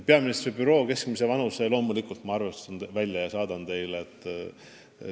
Peaministri büroo keskmise vanuse ma loomulikult arvestan välja ja saadan tulemuse teile.